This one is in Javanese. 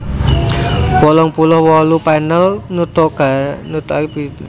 wolung puluh wolu panel nutugake Biografi Maitreya